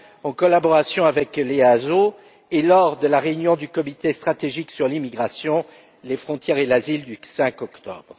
en collaboration avec l'EASO et lors de la réunion du comité stratégique sur l'immigration, les frontières et l'asile, du 5 octobre.